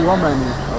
Şoğman idi.